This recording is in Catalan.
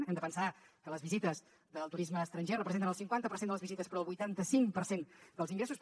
hem de pensar que les visites del turisme estranger representen el cinquanta per cent de les visites però el vuitanta cinc per cent dels ingressos